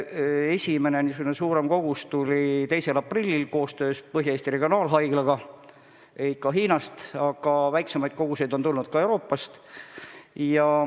Esimene suurem kogus tuli 2. aprillil, see sai tellitud koostöös Põhja-Eesti Regionaalhaiglaga samuti Hiinast, aga väiksemaid koguseid on tulnud ka Euroopast.